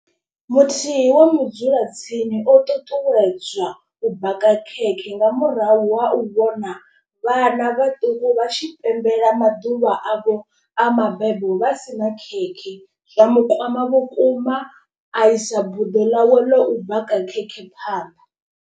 Muthihi wa mudzula tsini o ṱuṱuwedzwa u baka khekhe nga murahu ha u vhona vhana vhaṱuku vha tshi pembela maḓuvha avho a mabebo. Vha sina khetshi zwa mukwama vhukuma a isa buḓo ḽawe ḽa u baka khekhe phanḓa.